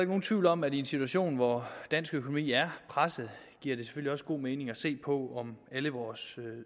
nogen tvivl om at i en situation hvor dansk økonomi er presset giver det også god mening at se på om alle vores